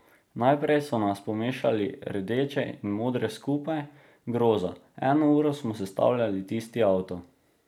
Najprej so nas pomešali rdeče in modre skupaj, groza, eno uro smo sestavljali tisti avto.